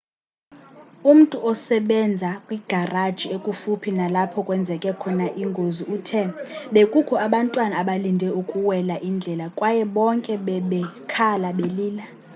umntu osebenza kwigaraji ekufuphi nalapho kwenzeke khona ingozi uthe bekukho abantwana abalinde ukuwela indlela kwaye bonke bebekhala belila